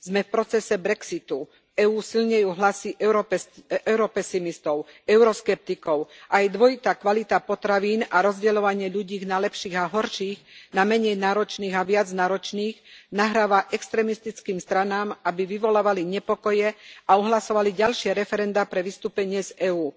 Sme v procese brexitu, v EÚ silnejú hlasy europesimistov a euroskeptikov a aj dvojitá kvalita potravín a rozdeľovanie ľudí na lepších a horších, na menej náročných a viac náročných nahráva extrémistickým stranám, aby vyvolávali nepokoje a ohlasovali ďalšie referendá pre vystúpenie z EÚ.